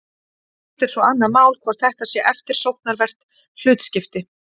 hitt er svo annað mál hvort þetta sé eftirsóknarvert hlutskipti